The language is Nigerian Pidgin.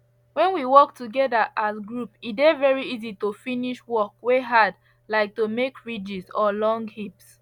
when we work together as group e dey very easy to finish work wey hard like to make ridges or long heaps